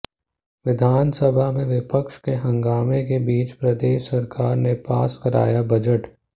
विधान सभा में विपक्ष के हंगामे के बीच प्रदेश सरकार ने पास कराया बजट